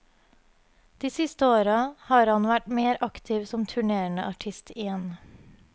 De siste åra har han vært mer aktiv som turnerende artist igjen.